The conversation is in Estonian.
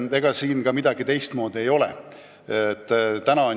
Ega siin ka midagi teistmoodi ei ole.